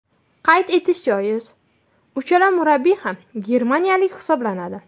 Qayd etish joiz, uchala murabbiy ham germaniyalik hisoblanadi.